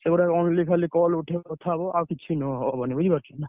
ସେଗୁଡା only ଖାଲି call ଉଠେଇବ କଥା ହବ। ଆଉ କିଛି ନୁହଁ ହବନି ବୁଝିପାରୁଛ ନା।